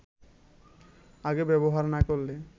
আগে ব্যবহার না করলে